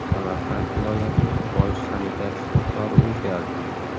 Samarqand viloyatining bosh sanitar shifokori o‘zgardi.